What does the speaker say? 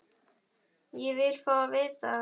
Ég vil fá að vita það!